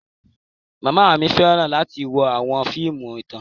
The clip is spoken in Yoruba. Mama mi fẹran lati wo awọn fiimu itan.